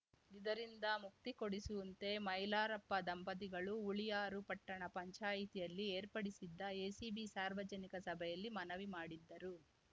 ಇದರಿಂದ ಮುಕ್ತಿ ಕೊಡಿಸುವಂತೆ ಮೈಲಾರಪ್ಪ ದಂಪತಿಗಳು ಹುಳಿಯಾರು ಪಟ್ಟಣ ಪಂಚಾಯಿತಿಯಲ್ಲಿ ಏರ್ಪಡಿಸಿದ್ದ ಎಸಿಬಿ ಸಾರ್ವಜನಿಕ ಸಭೆಯಲ್ಲಿ ಮನವಿ ಮಾಡಿದ್ದರು